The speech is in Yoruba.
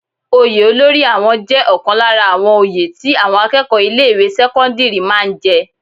Oyè olórí àwọn jẹ́ ọ̀kan lára àwọn oyè tí àwọn akẹ́kọ̀ọ́ ilé ìwé sẹ́kọ́ńdírì máa ń jẹ.